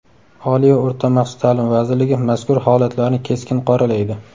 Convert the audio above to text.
Oliy va o‘rta maxsus ta’lim vazirligi mazkur holatlarni keskin qoralaydi.